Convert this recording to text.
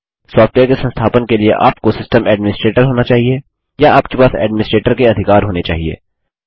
software के संस्थापन के लिए आप सिस्टम एडमिनीस्ट्रेटर होने चाहिए या आपके पास एडमिनीस्ट्रेटर के अधिकार होने चाहिए